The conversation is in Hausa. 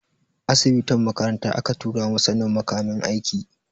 Asibitin makaranta aka tura mu sanin makamin aiki.